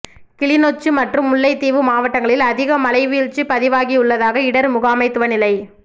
கிளிநொச்சி மற்றும் முல்லைத்தீவு மாவட்டங்களில் அதிக மழைவீழ்ச்சி பதிவாகியுள்ளதாக இடர் முகாமைத்துவ நிலை